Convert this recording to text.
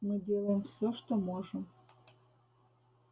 мы делаем всё что можем